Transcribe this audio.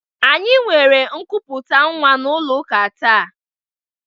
Any nwere nkụpụta nwa n'ụlọ ụka taa.